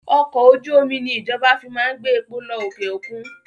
Ọkọ̀ ojú omi ni ìjọba fi máa ń gbé epo lọ òkè òkun